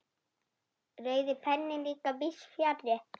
Rauði penninn líka víðs fjarri.